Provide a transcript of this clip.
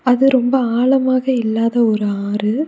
அது ரொம்ப ஆழமாக இல்லாத ஒரு ஆறு.